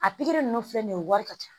A pikiri ninnu filɛ nin ye wari ka ca